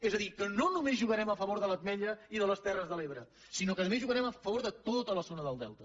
és a dir que no només jugarem a favor de l’ametlla i de les terres de l’ebre sinó que a més jugarem a favor de tota la zona del delta